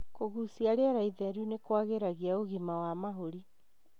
Kũgucia rĩera ĩtheru nĩ kũagiragia ũgima wa mahũri.